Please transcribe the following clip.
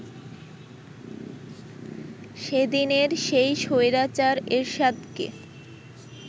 সেদিনের সেই স্বৈরাচার এরশাদকে